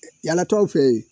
Yaalatɔw fɛ yen